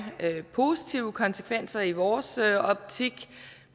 positive konsekvenser i vores optik